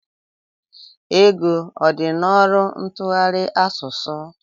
Ego ọ dị n'ọrụ ntụgharị asụsụ?